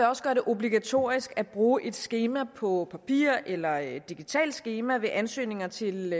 også gøre det obligatorisk at bruge et skema på papir eller et digitalt skema ved ansøgninger til